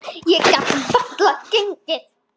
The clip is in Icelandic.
Ég get varla gengið.